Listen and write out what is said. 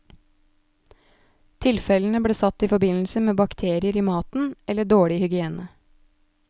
Tilfellene ble satt i forbindelse med bakterier i maten eller dårlig hygiene.